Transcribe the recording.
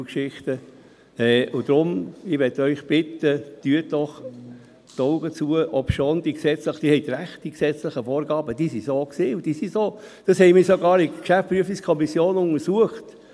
Und deshalb möchte ich Sie bitten: Drücken Sie doch ein Auge zu, obschon – Sie haben recht – die gesetzlichen Vorgaben so waren und sind, wir haben das sogar in der GPK untersucht.